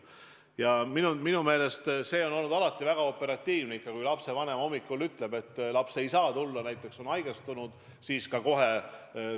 Ja minu meelest on tegutsetud väga operatiivselt, kui on arvestatud seda, et kui lapsevanem hommikul ütleb, et laps ei saa tulla, on haigestunud, siis võetakse seda tasu puhul arvesse.